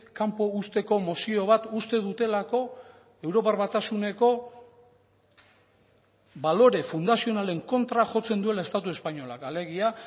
kanpo uzteko mozio bat uste dutelako europar batasuneko balore fundazionalen kontra jotzen duela estatu espainolak alegia